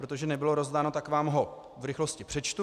Protože nebylo rozdáno, tak vám ho v rychlosti přečtu.